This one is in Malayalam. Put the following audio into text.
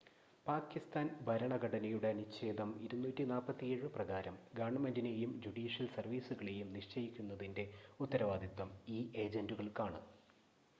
പാക്കിസ്ഥാൻ ഭരണഘടനയുടെ അനുച്ഛേദം 247 പ്രകാരം, ഗവൺമെന്റിനെയും ജുഡീഷ്യൽ സർവീസുകളെയും നിശ്ചയിക്കുന്നതിന്റെ ഉത്തരവാദിത്തം ഈ ഏജന്റുകൾക്കാണ്